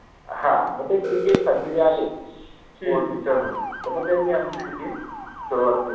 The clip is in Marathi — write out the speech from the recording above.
हा मनजे cricket साठि जे आले sport teacher मनुन, त मग त्यानि आमचि ति team सुरुवात केलि